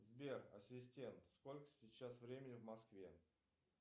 сбер ассистент сколько сейчас времени в москве